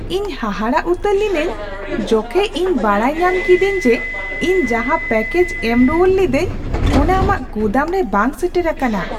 ᱤᱧ ᱦᱟᱦᱟᱲᱟᱜ ᱩᱛᱟᱹᱨ ᱞᱤᱱᱟᱹᱧ ᱡᱚᱠᱷᱮᱡ ᱤᱧ ᱵᱟᱰᱟᱭ ᱧᱟᱢ ᱠᱤᱫᱟᱹᱧ ᱡᱮ ᱤᱧ ᱡᱟᱦᱟ ᱯᱮᱠᱮᱡᱽ ᱮᱢ ᱨᱩᱣᱟᱹᱲ ᱞᱤᱫᱟᱹᱧ ᱚᱱᱟ ᱟᱢᱟᱜ ᱜᱩᱫᱟᱹᱢ ᱨᱮ ᱵᱟᱝ ᱥᱮᱴᱮᱨ ᱟᱠᱟᱱᱟ !